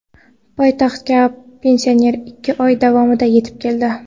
Poytaxtga pensioner ikki oy davomida yetib keldi.